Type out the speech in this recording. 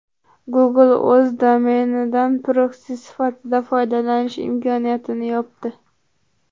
Google o‘z domenidan proksi sifatida foydalanish imkoniyatini yopdi.